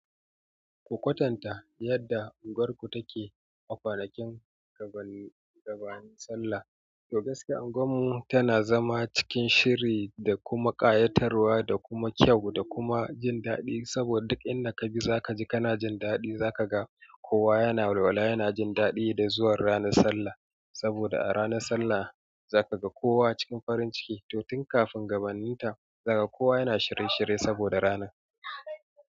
Ku kwatanta yadda unguwarku take a kwanakin gabannin sallah to gaskiya unguwar mu tana zama cikin shiri da kuma ƙayatarwa da kuma kyau da kuma jin daɗi saboda duk inda ka ji za ka ji kana jin daɗi za ka ga kowa yana walwala yana jin daɗi da zuwan ranar sallah. Saboda a ranar sallah za ka ga kowa cikin farin ciki, to tun kafin gabanninta za ka kowa yana shirye shirye saboda rana.